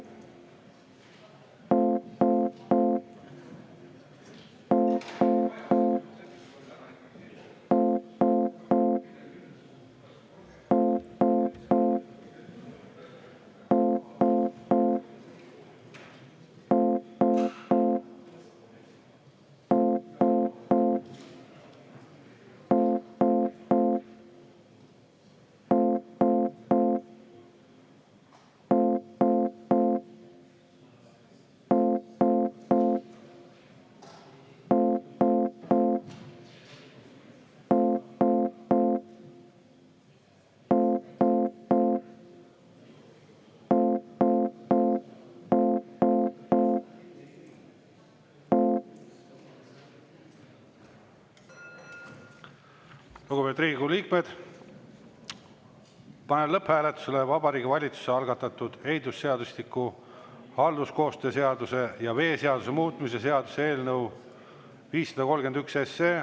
Lugupeetud Riigikogu liikmed, panen lõpphääletusele Vabariigi Valitsuse algatatud ehitusseadustiku, halduskoostöö seaduse ja veeseaduse muutmise seaduse eelnõu 531.